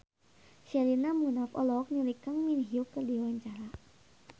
Sherina Munaf olohok ningali Kang Min Hyuk keur diwawancara